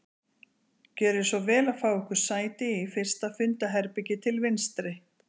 Gjörið svo vel að fá ykkur sæti í fyrsta fundarherbergi til vinstri